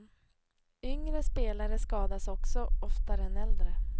Yngre spelare skadas också oftare än äldre.